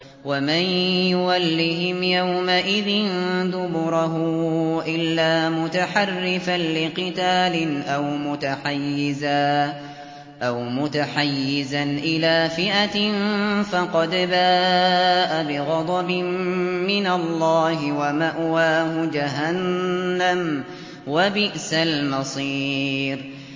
وَمَن يُوَلِّهِمْ يَوْمَئِذٍ دُبُرَهُ إِلَّا مُتَحَرِّفًا لِّقِتَالٍ أَوْ مُتَحَيِّزًا إِلَىٰ فِئَةٍ فَقَدْ بَاءَ بِغَضَبٍ مِّنَ اللَّهِ وَمَأْوَاهُ جَهَنَّمُ ۖ وَبِئْسَ الْمَصِيرُ